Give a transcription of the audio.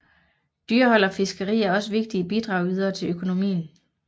Dyrehold og fiskeri er også vigtige bidragydere til økonomien